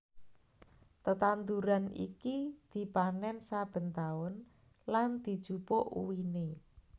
Tetanduran iki dipanèn saben taun lan dijupuk uwiné